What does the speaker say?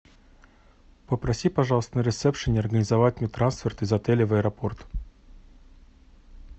попроси пожалуйста на ресепшене организовать мне трансферт из отеля в аэропорт